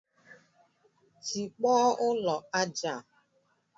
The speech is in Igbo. Tikpọọ ụlọ aja a!